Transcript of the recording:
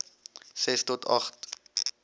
ses tot agt